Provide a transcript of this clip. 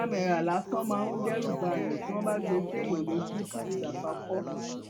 camera lásán máa ń dẹrù báàyàn tí wọn bá gbé e séèyàn lójú fún ìgbà àkọkọ